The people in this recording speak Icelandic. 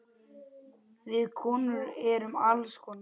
Við konur erum alls konar.